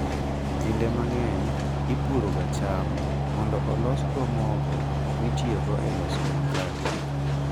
Kinde mang'eny ipuroga cham mondo olosgo mogo mitiyogo e loso makate.